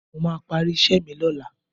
Mo máa parí iṣẹ́ mi lọ́la